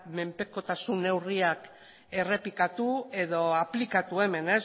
menpekotasun neurriak errepikatu edo aplikatu hemen